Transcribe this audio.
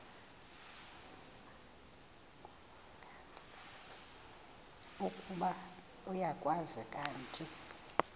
ukuba uyakwazi kanti